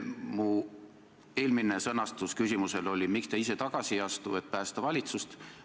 Minu eelmise küsimuse sõnastus oli: miks te ise tagasi ei astu, et päästa valitsust?